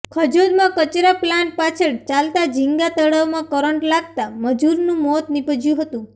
ખજોદમાં કચરા પ્લાન્ટ પાછળ ચાલતા જીંગા તળાવમાં કરંટ લાગતા મજૂરનું મોત નીપજ્યું હતું